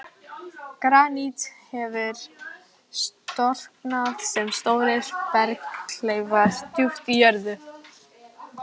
Granít hefur storknað sem stórir berghleifar djúpt í jörðu.